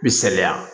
Bi saliya